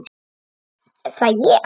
Er það ég?